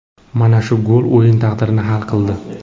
Mana shu gol o‘yin taqdirini hal qildi.